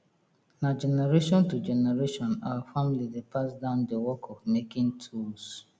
na generation to generation our family dey pass down the work of making tools